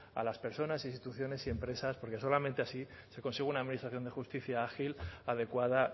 a las personas instituciones y empresas porque solamente así se consigue una administración de justicia ágil adecuada